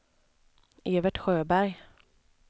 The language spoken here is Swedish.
Evert Sjöberg